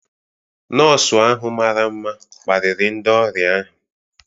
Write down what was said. Nọọsụ ahụ mara mma kparịrị ndị ọrịa ahụ.